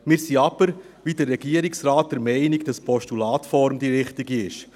Wir sind aber, wie der Regierungsrat der Meinung, dass die Postulatsform die richtige ist.